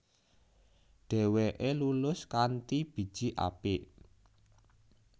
Dheweke lulus kanthi biji apik